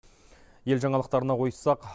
ел жаңалықтарына ойыссақ